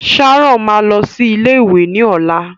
Sharon máa lọ sí ilé ìwé ni ọlá.